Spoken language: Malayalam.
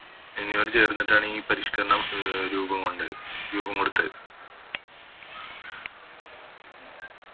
ചേർന്നിട്ടാണ് ഈ പരിഷ്‌ക്കരണം അഹ് രൂപം കൊണ്ടത് രൂപം കൊടുത്തത്